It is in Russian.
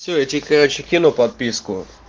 все я тебе короче кину подписку